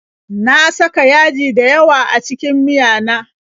Na saka yaji dayawa a cikin miyana